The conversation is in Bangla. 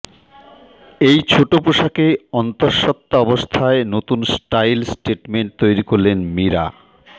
এই ছোট পোশাকে অন্তঃসত্ত্বা অবস্থায় নতুন স্টাইল স্টেটমেন্ট তৈরি করলেন মীরা